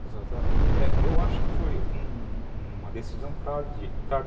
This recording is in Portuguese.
Exatamente, eu acho que foi uma decisão